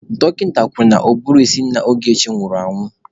Dọkịta kwuru na ụbụrụ ísí nna Ogechi nwụrụ anwụ.